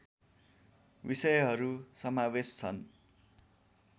विषयहरू समावेश छन्